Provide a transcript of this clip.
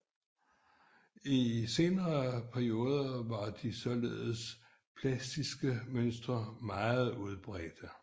I en senere periode var de såkaldte plastiske mønstre meget udbredte